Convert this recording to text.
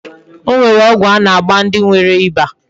O nwere ogwu a na-agba ndi nwere iba.